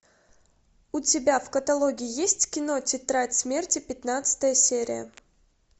у тебя в каталоге есть кино тетрадь смерти пятнадцатая серия